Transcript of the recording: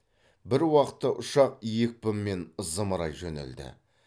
бір уақытта ұшақ екпінмен зымырай жөнелді